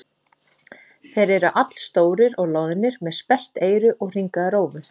Þeir eru allstórir og loðnir með sperrt eyru og hringaða rófu.